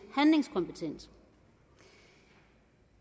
handlingskompetent